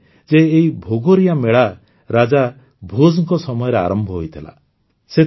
କୁହାଯାଏ ଯେ ଏହି ଭଗୋରିୟା ମେଳା ରାଜା ଭୋଜଙ୍କ ସମୟରେ ଆରମ୍ଭ ହୋଇଥିଲା